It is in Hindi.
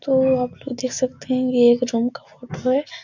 तो आप लोग यह देख सकते हैं ये एक रूम का फोटो है।